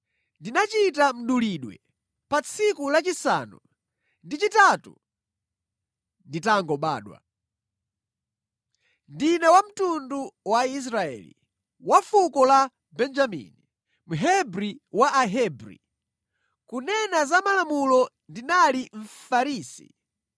Ndinachita mdulidwe pa tsiku lachisanu ndi chitatu nditangobadwa. Ndine wa mtundu wa Israeli, wa fuko la Benjamini, Mhebri wa Ahebri, kunena za malamulo, ndinali Mfarisi.